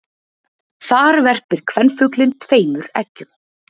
Þar verpir kvenfuglinn tveimur eggjum.